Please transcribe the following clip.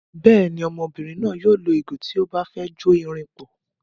Bẹ́ẹ̀ ni, ọmọbìnrin náà yóò lo ìgò tí ó bá ti fẹ́ jó irin pọ̀.